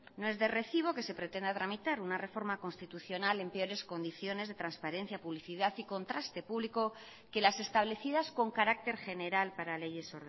no es de recibo que se pretenda tramitar una reforma constitucional en peores condiciones de transparencia publicidad y contraste público que las establecidas con carácter general para leyes